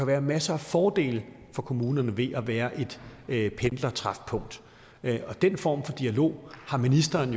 være masser af fordele for kommunerne ved at være et pendlertræfpunkt og den form for dialog har ministeren